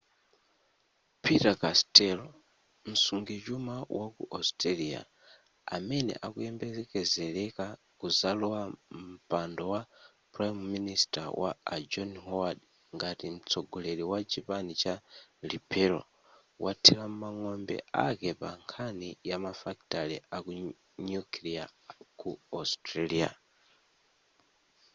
peter costello msungichuma waku australia amene akuyembekezeleka kuzalowa mpando wa prime minister wa a john howard ngati mtsogoleri wa chipani cha liberal wathira mang'ombe ake pa nkhani yamafakitale a nuclear ku australia